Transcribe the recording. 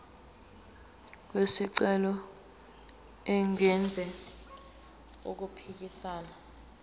wesicelo engenzi okuphikisana